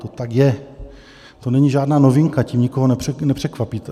To tak je, to není žádná novinka, tím nikoho nepřekvapíte.